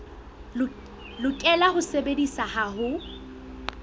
lokela ho sebediswa ha ho